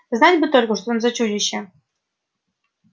знать бы только что там за чудище